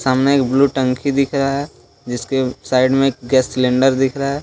सामने एक ब्लू टंकी दिख रहा है जीसके साइड में गैस सिलेंडर दिख रहा है।